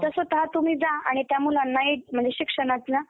तिथं स्वतः तुम्ही जा आणि त्या मुलांना एक म्हणजे शिक्षणाच्या